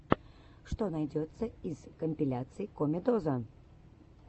что найдется из компиляций комедоза